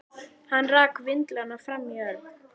Hann rak vindlana framan í Örn.